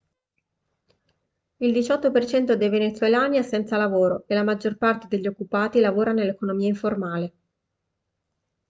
il 18% dei venezuelani è senza lavoro e la maggior parte degli occupati lavora nell'economia informale